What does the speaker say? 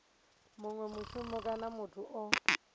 munwe mushumi kana muthu o